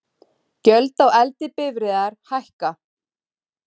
Gjöld á eldri bifreiðar hækka